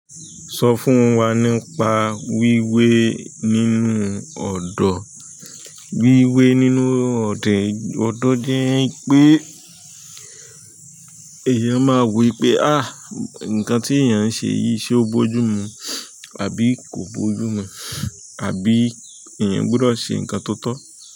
Sọ fún wa nípa wíwé nínú ọ̀dọ̀. Wíwé nínú ọ̀dọ̀ jẹ́ pé èèyàn máa wo pé àá nǹkan tí èèyàn ń ṣe yìí ṣe ó bojú mu àbí kò bojú mu àbí èèyàn gbọdọ̀ ṣe nǹkan tó tọ́.